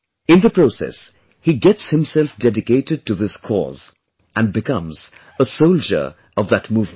In the process, he gets himself dedicated to this cause and becomes a soldier of that movement